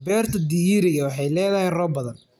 Beerta digiriga waxay leedahay roob badan.